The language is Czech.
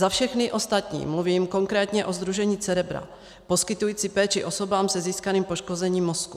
Za všechny ostatní mluvím konkrétně o sdružení Cerebrum poskytujícím péči osobám se získaným poškozením mozku.